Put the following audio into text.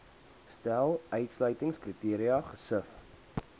stel uitsluitingskriteria gesif